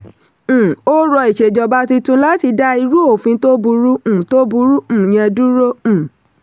um ó rọ ìṣèjọba tuntun láti dá irú òfin tó burú um tó burú um yẹn dúró. um